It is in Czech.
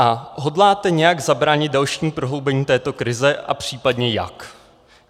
A hodláte nějak zabránit dalšímu prohloubení této krize a případně jak?